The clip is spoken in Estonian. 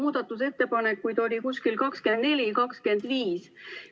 Muudatusettepanekuid oli 24 või 25.